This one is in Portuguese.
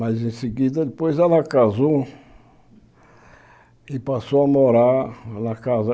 Mas em seguida, depois ela casou e passou a morar na casa...